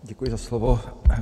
Děkuji za slovo.